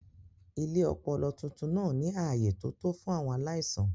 Ilé ọpọlọ tuntun náà ní ààyè tó tó fún àwọn aláìsàn.